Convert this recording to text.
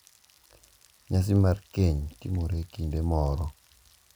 Nyasi mar keny timore e kinde moro.